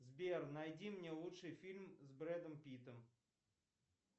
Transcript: сбер найди мне лучший фильм с брэдом питтом